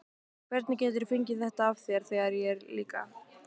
Hvernig geturðu fengið þetta af þér, þegar ég er líka.